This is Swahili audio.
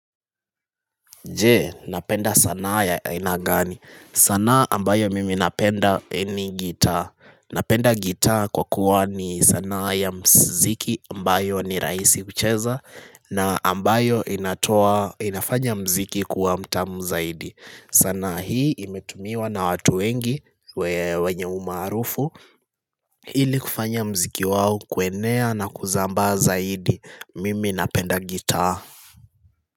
Je, napenda sanaa ya ainagani. Sanaa ambayo mimi napenda ni gitaa. Napenda gitaa kwa kuwa ni sanaa ya muziki ambayo ni rahisi kucheza na ambayo inafanya muziki kuwa mtamu zaidi. Sanaa hii imetumiwa na watu wengi wenye umarufu ili kufanya muziki wao kuenea na kusambaa zaidi. Mimi napenda gitaa.